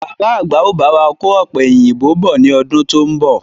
Bàbá àgbà ó bá wà kò ọ̀pẹ̀yìnbo bọ̀ ni ọdún to ń bọ̀.